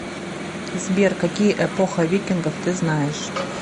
сбер какие эпоха викингов ты знаешь